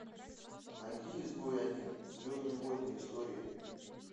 найди изгой один звездные войны истории